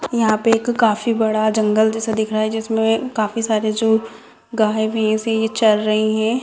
यहाँ पे एक काफी बड़ा जंगल जैसा दिख रहा है जिसमे काफी सारे जो गाय-भैस है चर रहे है।